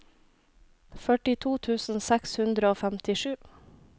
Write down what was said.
førtito tusen seks hundre og femtisju